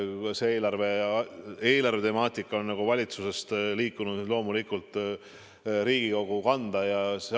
Eelarve ja eelarvetemaatika on valitsusest liikunud loomulikult Riigikogu kanda.